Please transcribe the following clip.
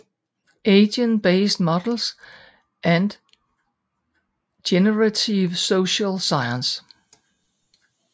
Agent Based Models and Generative Social Science